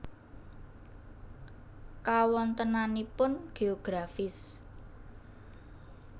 Kawontenanipun Geografis